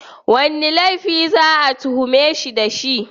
Wane laifi za a tuhume shi da shi?